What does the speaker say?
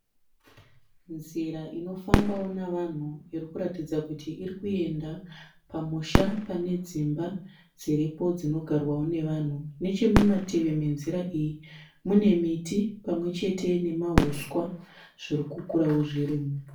Nzira inofambawo navanhu irikuratidza kuti irikuenda pamusha pane dzimba dziripo dzinogarwawo nevanhu. Nechemumativi menzira iyi mune miti pamwechete nemahuswa zviri kukurawo zvirimo.